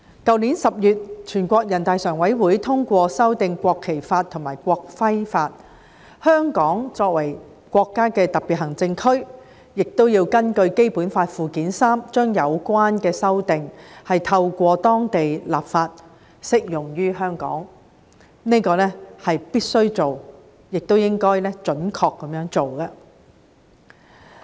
去年10月，全國人大常委會通過修訂《中華人民共和國國旗法》和《中華人民共和國國徽法》，香港作為國家的特別行政區，亦要根據《基本法》附件三，將有關的修訂透過當地立法，適用於香港，這是必須做，亦應該準確地做的。